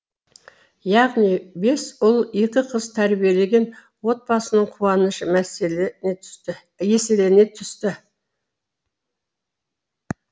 яғни бес ұл екі қыз тәрбиелеген отбасының қуанышы еселене түсті